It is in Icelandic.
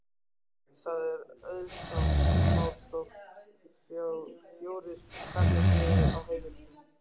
Það er auðsótt mál þótt fjórir karlmenn séu á heimilinu.